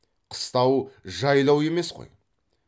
қыстау жайлау емес қой